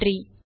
நன்றி